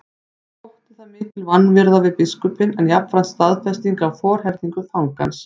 Þótti það mikil vanvirða við biskupinn en jafnframt staðfesting á forherðingu fangans.